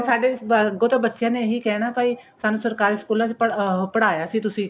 ਸਾਡੇ ਅੱਗੋ ਤਾਂ ਬੱਚਿਆਂ ਨੇ ਇਹੀ ਕਹਿਣਾ ਭਾਈ ਸਾਨੂੰ ਸਰਕਾਰੀ ਸਕੂਲਾ ਚ ਪੜ੍ਹ ਅਹ ਪੜ੍ਹਾਇਆ ਸੀ ਤੁਸੀਂ